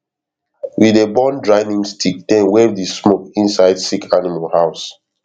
we dey burn dry neem stick then wave the smoke inside sick animal house